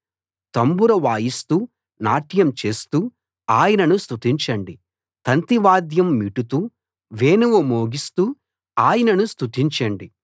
తంబుర వాయిస్తూ నాట్యం చేస్తూ ఆయనను స్తుతించండి తంతివాద్యం మీటుతూ వేణువు మోగిస్తూ ఆయనను స్తుతించండి